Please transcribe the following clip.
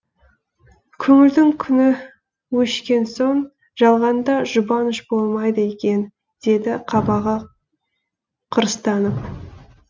көңілдің күні өшкен соң жалғанда жұбаныш болмайды екен деді қабағы қырыстанып